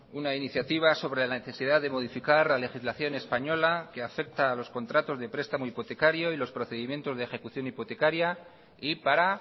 una iniciativa sobre la necesidad de modificar la legislación española que afecta a los contratos de prestamo hipotecario y los procedimientos de ejecución hipotecaria y para